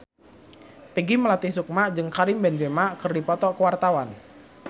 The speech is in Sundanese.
Peggy Melati Sukma jeung Karim Benzema keur dipoto ku wartawan